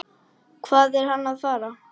Hvað er hann að fara?